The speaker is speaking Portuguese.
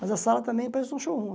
Mas a sala também parece um showroom.